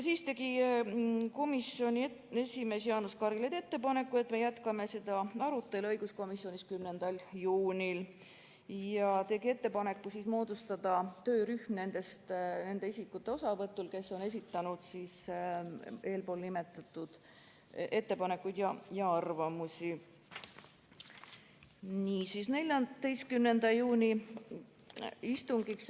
Õiguskomisjoni esimees Jaanus Karilaid tegi ettepaneku jätkata arutelu õiguskomisjonis 10. juunil, ja moodustada töörühm nende isikute osavõtul, kes on esitanud eelpool nimetatud ettepanekuid ja arvamusi.